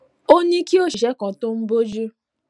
ó ní kí òṣìṣé kan tó ń bójú